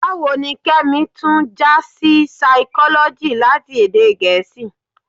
Báwo ni Kẹ́mi tún já sí Saikọ́lọ́jì láti èdè Gẹ̀ẹ́sì?